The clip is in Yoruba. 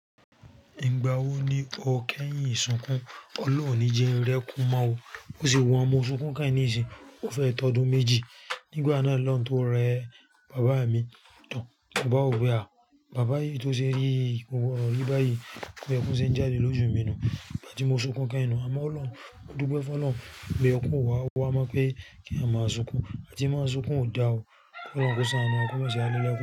Ìgbà wo ni o kẹ́yìn sunkún? Ọlọ́run o ní jẹ́ n rẹ́kùn mọ́ o, ó sì wọ́n. Mo sunkún kẹ́hìn nìsìnyi, ó fẹ́ tọ́dún méjì. Nígbà náà loun tó rẹ́ bàbá mi to. Mo bá wò pé, bàbá yìí tó ṣe rí yìí kò gbọdọ̀ rí báyìí tí ẹkún ṣe ń jáde lójú mi nù. Ìgbà tí mo sunkún kẹ́hìn nú, àmọ́ Ọlọ́run, mó dúpé fún Ọlọ́run wípé ẹkún ò wá wá mọ̀ pé kí eeyan má sunkún. Atí máa sunkún ò da o. Kí Ọlọ́run kó ṣàánú, wa kò mọ̀ ṣe wá lelẹ̀kún.